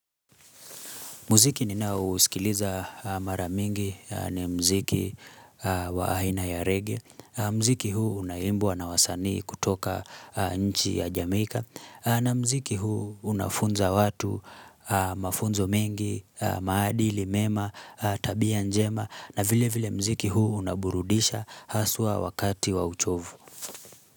Muziki ninaousikiliza mara mingi ni mziki wa aina ya reggae. Mziki huu unaimbwa na wasanii kutoka nchi ya Jamaica. Na mziki huu unafunza watu mafunzo mengi, maadili, mema, tabia njema. Na vile vile mziki huu unaburudisha haswa wakati wa uchovu.